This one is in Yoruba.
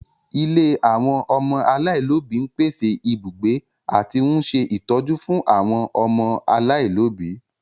Ilé àwọn ọmọ aláìlóbi ń pèsè ibùgbé àti ń ṣe ìtọ́jú fún àwọn ọmọ aláìlóbi